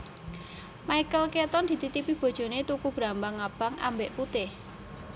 Michael Keaton dititipi bojone tuku brambang abang ambek putih